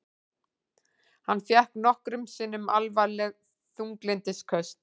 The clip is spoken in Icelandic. Hann fékk nokkrum sinnum alvarleg þunglyndisköst.